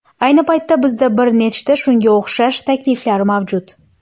Ayni paytda bizda bir nechta shunga o‘xshash takliflar mavjud!